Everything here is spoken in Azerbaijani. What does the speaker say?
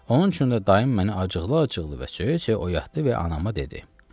Onun üçün də daim məni acıqlı-acıqlı və cöyü-cöyü oyatdı və anamı dedi: